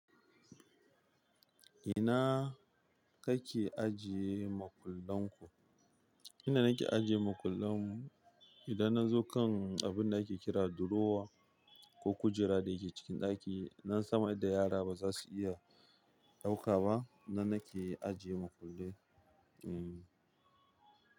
Ina kake ajiye makullan ku? Inda nake ajiye makullen mu, idan na zo kan abunda ake kira durowa ko kujera da yake cikin ɗaki, nan sama indan yara ba za su iya ɗauka ba, nan nake ajiye makullai, hmm.